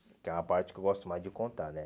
Que é uma parte que eu gosto mais de contar, né?